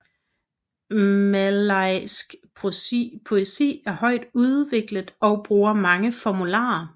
Malajisk poesi er højt udviklet og bruger mange formularer